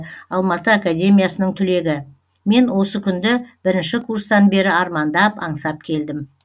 алматы академиясының түлегі мен осы күнді бірінші курстан бері армандап аңсап келдім